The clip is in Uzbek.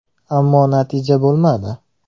Ammo natija bo‘lmadi.